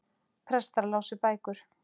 Prestar lásu bækur.